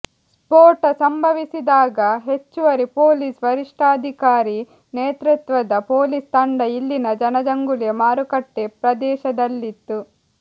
ಸ್ಫೋಟ ಸಂಭವಿಸಿದಾಗ ಹೆಚ್ಚುವರಿ ಪೊಲೀಸ್ ವರಿಷ್ಠಾಧಿಕಾರಿ ನೇತೃತ್ವದ ಪೊಲೀಸ್ ತಂಡ ಇಲ್ಲಿನ ಜನಜಂಗುಳಿಯ ಮಾರುಕಟ್ಟೆ ಪ್ರದೇಶದಲ್ಲಿತ್ತು